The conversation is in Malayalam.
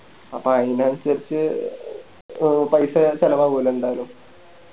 അപ്പൊ ആയിനനുസരിച്ച് ഓ പൈസ ഒക്കെ ചെലവാവു അല്ലോ എന്തായാലും